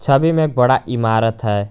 छवि में बड़ा इमारत है।